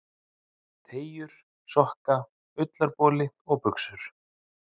Teygjur, sokka, ullarboli og buxur.